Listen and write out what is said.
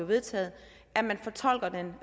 vedtaget